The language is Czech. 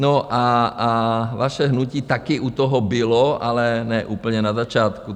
No a vaše hnutí také u toho bylo, ale ne úplně na začátku.